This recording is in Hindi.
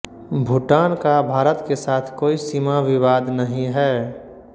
भूटान का भारत के साथ कोई सीमा विवाद नहीं है